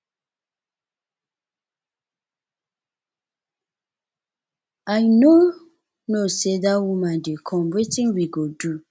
i no know say dat woman dey come wetin we go do